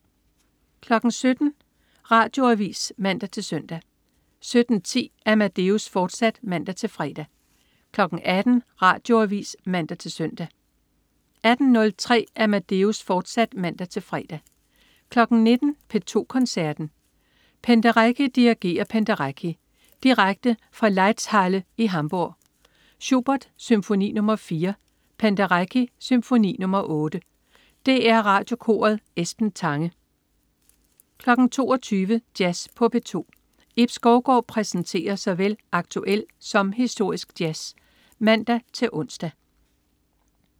17.00 Radioavis (man-søn) 17.10 Amadeus, fortsat (man-fre) 18.00 Radioavis (man-søn) 18.03 Amadeus, fortsat (man-fre) 19.00 P2 Koncerten. Penderecki dirigerer Penderecki, Direkte fra Laeiszhalle i Hamburg. Schubert: Symfoni nr. 4. Penderecki: Symfoni nr. 8. DR Radiokoret. Esben Tange 22.00 Jazz på P2. Ib Skovgaard præsenterer såvel aktuel som historisk jazz (man-ons)